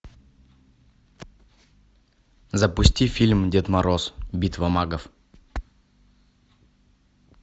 запусти фильм дед мороз битва магов